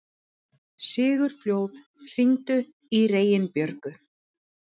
Sigurfljóð, hringdu í Reginbjörgu.